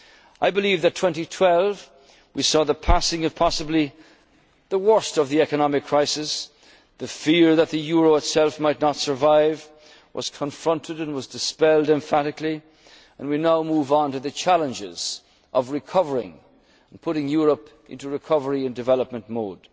the European family. I believe that in 2012 we saw the passing of possibly the worst of the economic crisis the fear that the euro itself might not survive was confronted and was dispelled emphatically and we now move on to the challenges of recovering and putting Europe into recovery